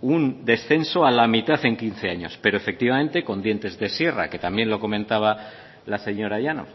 un descenso a la mitad en quince años pero efectivamente con dientes de sierra que también lo comentaba la señora llanos